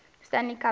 stanley cup playoffs